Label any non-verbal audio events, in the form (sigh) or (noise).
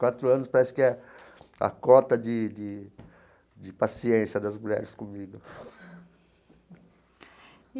Quatro anos parece que é a cota de de de paciência das mulheres comigo. (laughs)